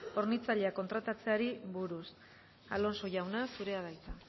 hornitzaileak kontratatzeari buruz alonso jauna zurea da hitza